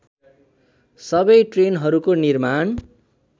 सबै ट्रेनहरूको निर्माण